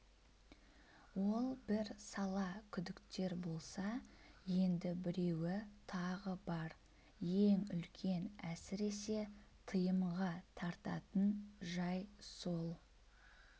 ол бір сала күдіктер болса енді біреуі тағы бар ең үлкен әсіресе тыйымға тартатын жай сол